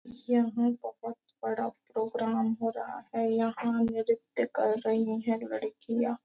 यहाँ बहुत बड़ा प्रोग्राम हो रहा है यहाँ नृत्य कर रही है लड़कियाँ।